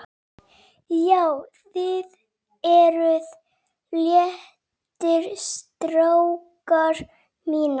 JÁ, ÞIÐ ERUÐ LÉTTIR, STRÁKAR MÍNIR!